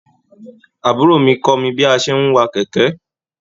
Àbúrò mi kọ mí bi a tí n wà kẹkẹ.